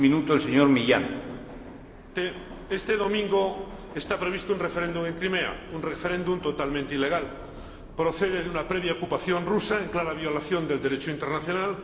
Señor Presidente, este domingo está previsto un referéndum en Crimea, un referéndum totalmente ilegal. Se deriva de una previa ocupación rusa, en clara violación del Derecho internacional.